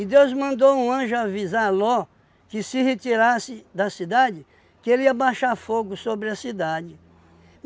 Deus mandou um anjo avisar Ló, que se retirasse da cidade, que ele ia baixar fogo sobre a cidade.